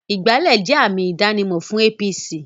Ìgbálẹ́ jẹ́ àmì ìdánimọ̀ fún APC